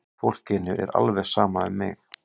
Fólkinu er alveg sama um mig!